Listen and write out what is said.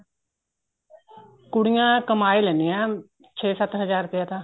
ਕੁੜੀਆਂ ਕਮਾ ਹੀ ਲੈਂਣੀਆਂ ਛੇ ਸੱਤ ਹਜਾਰ ਰੁਪਇਆ ਤਾਂ